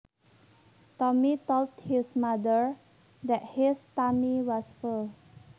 Tommy told his mother that his tummy was full